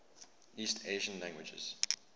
east asian languages